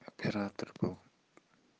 оператор был